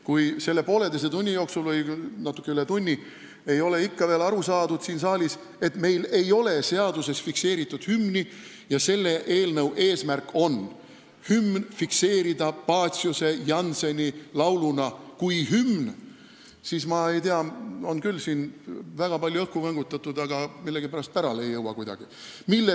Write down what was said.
Kui selle poolteise tunni või natuke kauem kui tunni jooksul ei ole ikka veel siin saalis aru saadud, et meil ei ole seaduses hümn fikseeritud ja selle eelnõu eesmärk on fikseerida Paciuse-Jannseni laul kui hümn, siis ma ei tea, siin on küll väga palju õhku võngutatud, aga millegipärast ei jõua see kuidagi pärale.